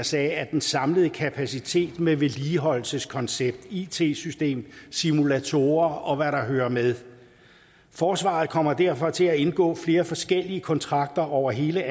sagde af den samlede kapacitet med vedligeholdelseskoncept it system simulatorer og hvad der hører med forsvaret kommer derfor til at indgå flere forskellige kontrakter over hele